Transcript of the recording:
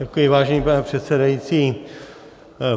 Děkuji, vážený pane předsedající.